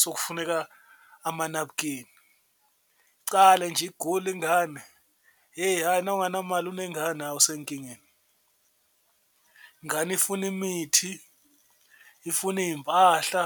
sokufuneka amanabukeni, icale nje igule ingane hheyi ayi nawunganamali unengane hha usenkingeni, ingane ifuna imithi, ifuna iy'mpahla.